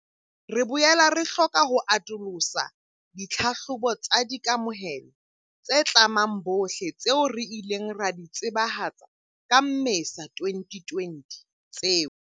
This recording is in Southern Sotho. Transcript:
Re boela re hloka ho atolosa ditlhahlobo tsa di kamohelo tse tlamang bohle tseo re ileng ra di tsebahatsa ka Mmesa 2020 tseo.